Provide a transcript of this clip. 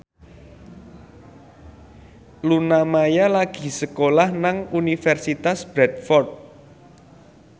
Luna Maya lagi sekolah nang Universitas Bradford